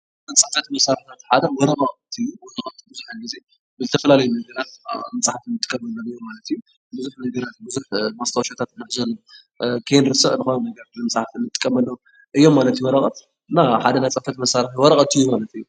ካብ ናይ ፅሕፈት መሳርሕታት ሓደ ወረቐት እዩ፡፡ ወረቐት ብዙሕ ጊዜ ብዝተፈላለዩ መንገድታት ኣብ ምፅሓፍ ንጥቀመሉ ነገር ማለት እዩ፡፡ ብዙሕ ነገራት ብዙሕ ማስታወሻታት ንሕዘሉ፣ ከይንርስዕ ብቀዋሚ ከም መፅሓፊ ንጥቀመሉ እዮም ማለት እዩ ወረቐት፡፡ እና ሓደ ናይ ፅሕፈት መሳርሒ ወረቐት እዩ ማለት እዩ፡፡